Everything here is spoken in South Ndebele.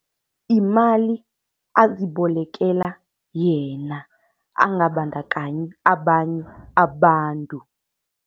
Yimali azibolekela yena, angabandakanyi abanye abantu.